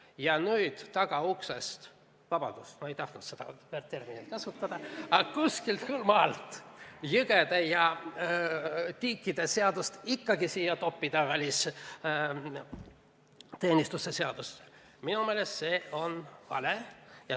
Ja nüüd, tagauksest – vabandust, ma ei tahtnud seda terminit kasutada –, aga kuidagi jõgede ja tiikide seadust siia, sellesse välisteenistuse seadusse toppida on minu meelest vale.